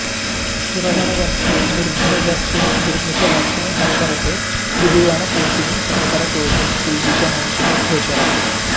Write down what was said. सुरवरवर्षिणि दुर्धरधर्षिणि दुर्मुखमर्षिणि हर्षरते त्रिभुवनपोषिणि शंकरतोषिणि किल्बिषमोषिणि घोषरते